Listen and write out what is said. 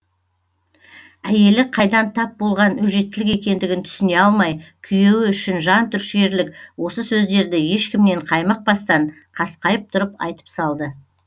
әйелі қайдан тап болған өжеттілік екендігін түсіне алмай күйеуі үшін жан түршігерлік осы сөздерді ешкімнен қаймықпастан қасқайып тұрып айтып салды